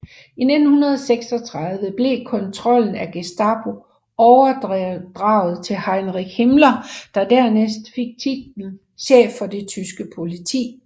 I 1936 blev kontrollen af Gestapo overdraget til Heinrich Himmler der dernæst fik titlen chef for det tyske politi